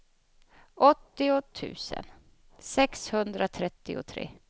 åttio tusen sexhundratrettiotre